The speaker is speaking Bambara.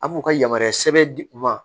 A b'u ka yamaruya sɛbɛn di u ma